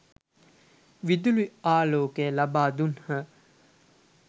විදුලි ආලෝකය ලබා දුන්හ.